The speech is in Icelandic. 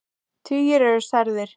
Tugir eru særðir.